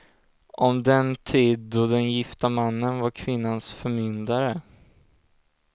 Om den tid då den gifta mannen var kvinnans förmyndare.